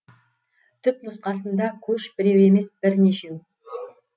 түпнұсқасында көш біреу емес бірнешеу